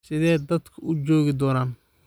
Sidee dadku u joogi doonaan?